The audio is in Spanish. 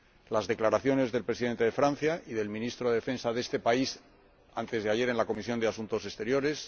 las declaraciones del Presidente de Francia y del ministro de Defensa de este país, antes de ayer en la Comisión de Asuntos Exteriores